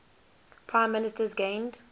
prime ministers gained